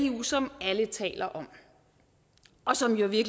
eu som alle taler om og som jo i